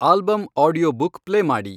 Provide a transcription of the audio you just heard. album audiobook play ಮಾಡಿ